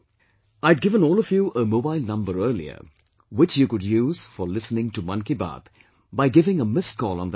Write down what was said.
I had given all of you a mobile number earlier, which you could use for listening to 'Mann Ki Baat' by giving a missed call on that number